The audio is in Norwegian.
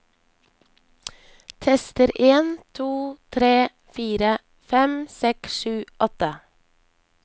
Tester en to tre fire fem seks sju åtte